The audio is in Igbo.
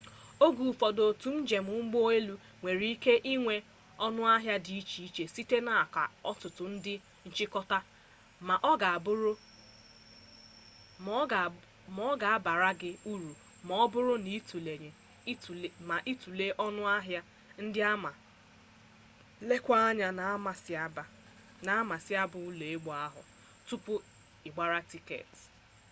oge ụfọdụ otu njem ụgbọelu nwere ike inwe ọnụahịa dị iche iche site n'aka ọtụtụ ndị nchịkọ ma ọ ga-abara gị uru ma ọ bụrụ na itule ọnụahịa ndị a ma leekwa anya n'amasaịba ụgbọelu ahụ tupu ịgbara tiketi